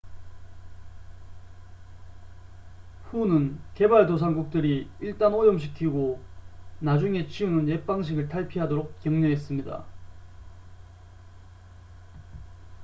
"후는 개발도상국들이 "일단 오염시키고 나중에 치우는 옛 방식을 탈피하도록" 격려했습니다.